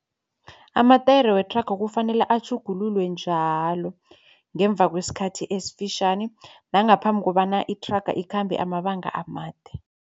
Amatayere wethraga kufanele atjhugululwe njalo ngemva kwesikhathi esifitjhani nangaphambi kobana ithraga ikhambe amabanga amade.